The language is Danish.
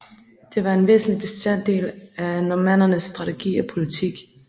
Den var en væsentlig bestanddel af normannernes strategi og politik